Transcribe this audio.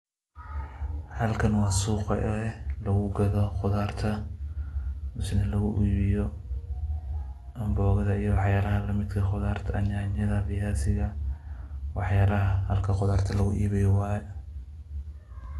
Halkan waa suuqa oo ah lugugado qudarta. Mise lugu iibiyo mbogada iyo waxyaalaha lamidka ah qudarta, nyaanyada, iyo viaziga. Waxyaalaha halka qudarta lugu iibiyo waa.